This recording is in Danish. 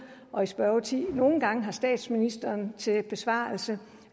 og i spørgetiden nogle gange har statsministeren til besvarelse